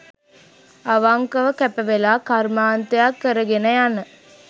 අවංකව කැපවෙලා කර්මාන්තයක් කරගෙන යන